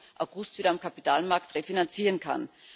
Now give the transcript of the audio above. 20. August wieder am Kapitalmarkt refinanzieren kann.